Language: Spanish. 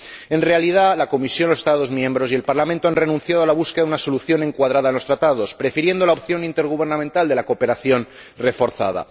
En realidad, la Comisión, los Estados miembros y el Parlamento han renunciado a la búsqueda de una solución encuadrada en los Tratados, prefiriendo la opción intergubernamental de la cooperación reforzada.